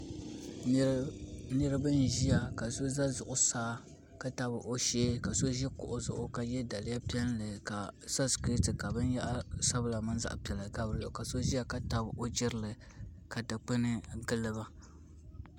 Niraba n ʒiya ka so ʒɛ zuɣusaa ka tabi o shee ka so ʒi kuɣu zuɣu ka yɛ daliya piɛlli ka so sikɛti ka binyahari sabila mini zaɣ piɛla gabi dinni ka so ʒiya ka tabi o jirili ka dikpuni giliba